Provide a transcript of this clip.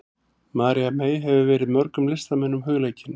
María mey hefur verið mörgum listamönnum hugleikin.